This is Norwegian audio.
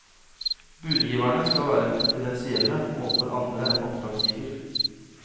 Budgiverne skal være konfidensielle overfor andre enn oppdragsgiver.